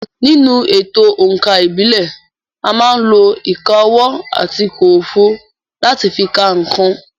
Nínú èto òǹkà ìbílẹ̀, à má ń lo ìka ọwọ́ àti kòròfo láti fi ka nǹkan.